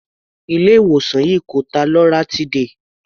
Ilé ìwòsàn yìí kò ta loratiday.